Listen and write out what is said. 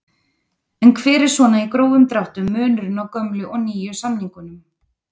En hver er svona í grófum dráttum munurinn á gömlu og nýju samningunum?